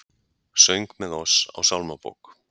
Söng með oss á sálmabók